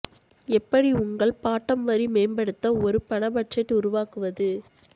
எப்படி உங்கள் பாட்டம் வரி மேம்படுத்த ஒரு பண பட்ஜெட் உருவாக்குவது